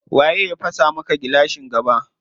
Waye ya fasa maka gilashin gaba?